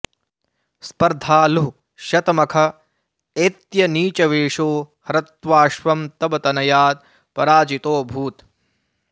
स्पर्धालुः शतमख एत्य नीचवेषो हृत्वाऽश्वं तव तनयात् पराजितोऽभूत्